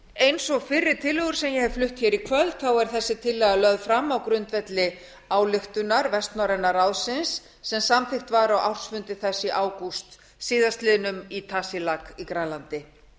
eins og fyrri tillögur sem ég hef flutt í kvöld er þessi tillaga lögð fram á grundvelli ályktunar vestnorræna ráðsins sem samþykkt var á ársfundi þess í ágúst síðastliðinn í tasiilaq í grænlandi